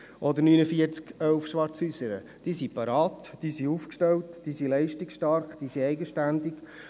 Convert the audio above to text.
Auch 4911 Schwarzhäusern ist bereit, leistungsstark und eigenständig.